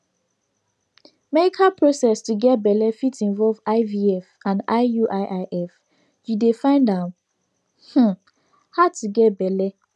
meical process to get belle fit involve ivf and iuiif you dey find am um hard to get belle